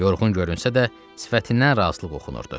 Yorğun görünsə də, sifətindən razılıq oxunurdu.